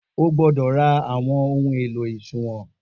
O gbódọ̀ ra àwọn ohun èlò òṣùwọ̀n